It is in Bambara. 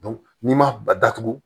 n'i ma datugu